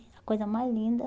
A coisa mais linda.